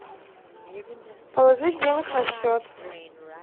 положить денег на счет